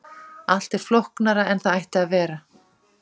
Allt er flóknara en það ætti að vera.